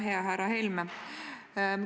Hea härra Helme!